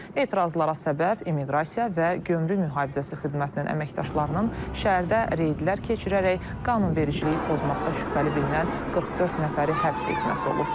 Etirazlara səbəb immiqrasiya və gömrük mühafizəsi xidmətinin əməkdaşlarının şəhərdə reydlər keçirərək qanunvericiliyi pozmaqda şübhəli bilinən 44 nəfəri həbs etməsi olub.